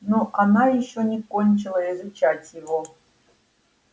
ну она ещё не кончила изучать его